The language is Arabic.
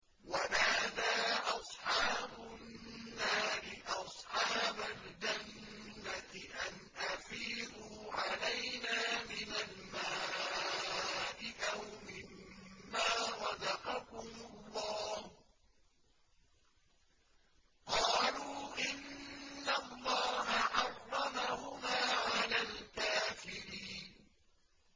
وَنَادَىٰ أَصْحَابُ النَّارِ أَصْحَابَ الْجَنَّةِ أَنْ أَفِيضُوا عَلَيْنَا مِنَ الْمَاءِ أَوْ مِمَّا رَزَقَكُمُ اللَّهُ ۚ قَالُوا إِنَّ اللَّهَ حَرَّمَهُمَا عَلَى الْكَافِرِينَ